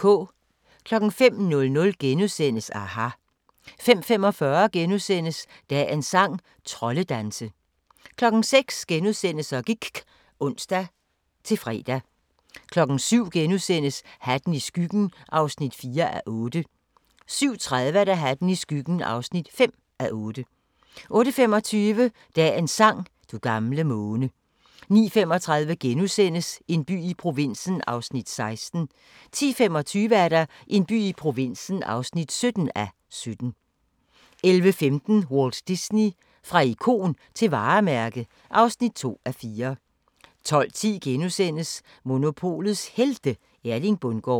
05:00: aHA! * 05:45: Dagens sang: Troldedanse * 06:00: Så gIKK *(ons-fre) 07:00: Hatten i skyggen (4:8)* 07:30: Hatten i skyggen (5:8) 08:25: Dagens sang: Du gamle måne 09:35: En by i provinsen (16:17)* 10:25: En by i provinsen (17:17) 11:15: Walt Disney – fra ikon til varemærke (2:4) 12:10: Monopolets Helte – Erling Bundgaard *